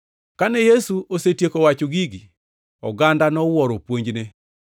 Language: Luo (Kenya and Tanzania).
Kane Yesu osetieko wacho gigi, oganda nowuoro puonjne,